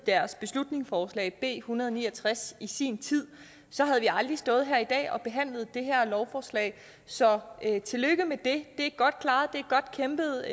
deres beslutningsforslag b en hundrede og ni og tres i sin tid havde vi aldrig stået her i dag og behandlet det her lovforslag så tillykke med det det er godt klaret det er godt kæmpet